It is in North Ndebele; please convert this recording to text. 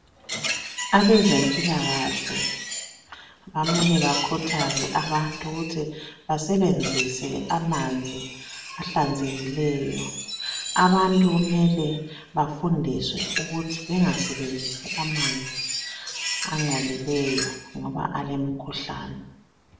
Abezempilakahle bamele bakhuthaze abantu ukuthi basebenzise amanzi ahlanzekileyo .Abantu kumele bafundiswe ukuthi bangasebenzisi amanzi angcolileyo ngoba alemikhuhlane.